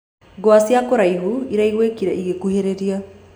Ngwa cĩa kũraĩhũ ĩraĩgũĩkĩre ĩgĩkũhĩrĩrĩa.